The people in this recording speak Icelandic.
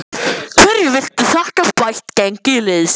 Hverju viltu þakka bætt gengi liðsins?